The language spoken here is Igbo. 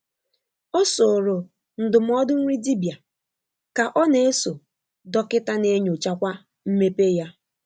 Ọ sórò ndụmọdụ nri dibịa, ka ọ na-eso dọkịta na-enyochakwa mmepe ya.